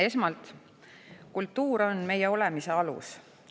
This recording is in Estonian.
Esmalt, kultuur on meie olemise alus.